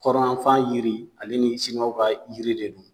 Kɔrɔn yanfan yiri ale ni siniwaw ka yiri de don